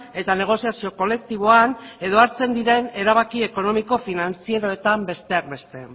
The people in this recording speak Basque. eta negoziazio kolektiboan edo hartzen diren erabaki ekonomiko finantzieroetan besteak beste